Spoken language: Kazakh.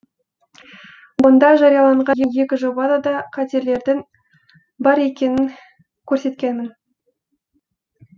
онда жарияланған екі жобада да қателердің бар екенін көрсеткенмін